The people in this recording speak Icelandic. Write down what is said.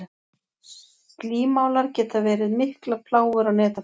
Slímálar geta verið miklar plágur á netafisk.